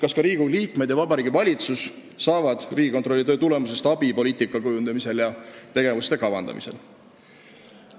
Kas ka Riigikogu liikmed ja Vabariigi Valitsus saavad Riigikontrolli töö tulemusest abi poliitika kujundamisel ja tegevuste kavandamisel?